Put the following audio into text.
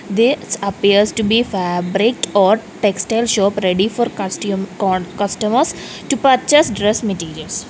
this appears to be fabric or textile shop ready for custom cod customers to purchase dress materials.